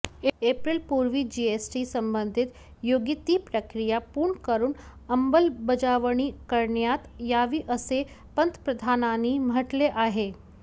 एप्रिलपूर्वी GST संबंधित योग्य ती प्रक्रिया पूर्ण करून अंमलबजावणी करण्यात यावी असे पंतप्रधानांनी म्हटले आहे